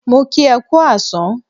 Mo kí e kú àsán